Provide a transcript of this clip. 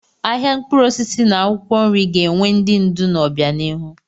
Ahịa mkpụrụ osisi na akwụkwọ nri ga-enwe ndị ndu n'obianihu.